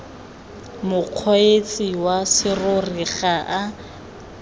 mokgweetsi wa serori ga a